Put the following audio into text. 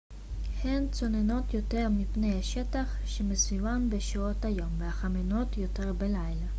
הן צוננות יותר מפני השטח שמסביבן בשעות היום וחמימות יותר בלילה